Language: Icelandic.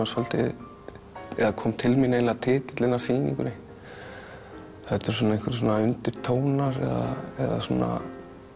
svolítið eða kom til mín titillinn að sýningunni þetta er svona einhvers konar unirtónar eða svona